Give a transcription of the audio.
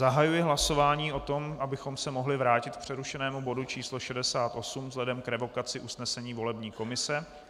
Zahajuji hlasování o tom, abychom se mohli vrátit k přerušenému bodu číslo 68 vzhledem k revokaci usnesení volební komise.